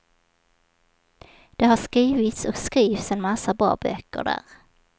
Det har skrivits och skrivs en massa bra böcker där.